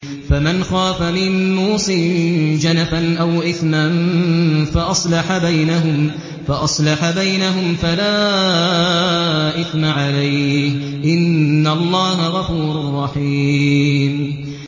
فَمَنْ خَافَ مِن مُّوصٍ جَنَفًا أَوْ إِثْمًا فَأَصْلَحَ بَيْنَهُمْ فَلَا إِثْمَ عَلَيْهِ ۚ إِنَّ اللَّهَ غَفُورٌ رَّحِيمٌ